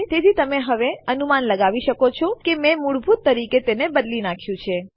તેથી તમે હવે અનુમાન લગાવી શકો છો કે મેં મૂળભૂત રીતે તેને બદલી નાખ્યું છે